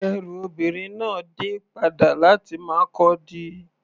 Ẹrú obìnrin náà dé padà láti Markurdi.